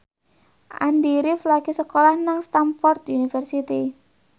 Andy rif lagi sekolah nang Stamford University